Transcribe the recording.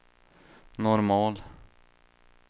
normal